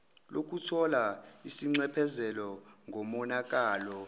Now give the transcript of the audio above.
lokuthola isinxephezelo ngomonakalo